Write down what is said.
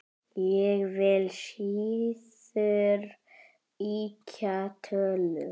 Ég vil síður ýkja tölur.